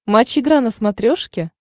матч игра на смотрешке